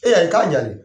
E y'a ye k'a jani